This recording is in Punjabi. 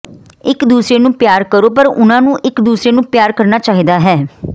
ਇੱਕ ਦੂਸਰੇ ਨੂੰ ਪਿਆਰ ਕਰੋ ਪਰ ਉਨ੍ਹਾਂ ਨੂੰ ਇੱਕ ਦੂਸਰੇ ਨੂੰ ਪਿਆਰ ਕਰਨਾ ਚਾਹੀਦਾ ਹੈ